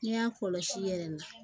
N'i y'a kɔlɔsi i yɛrɛ ma